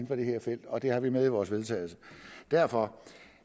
for det her felt og det har vi med i vores vedtagelse derfor